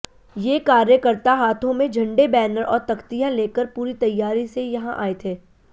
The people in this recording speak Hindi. ये कार्यकर्ता हाथों में झंडे बैनर और तख्तियां लेकर पूरी तैयारी से यहां आए थे